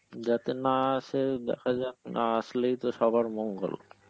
যাতে না আসে দেখা যাক, না আসলেই তো সবার মঙ্গল.